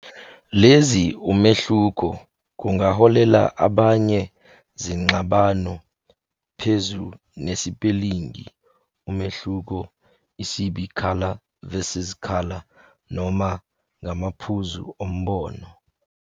Lezi umehluko kungaholela abanye zingxabano phezu nesipelingi umehluko, isib color Versus color, noma ngamaphuzu umbono.